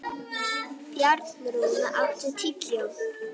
Bjarnrún, áttu tyggjó?